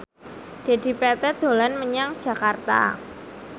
Dedi Petet dolan menyang Jakarta